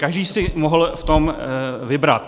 Každý si mohl v tom vybrat.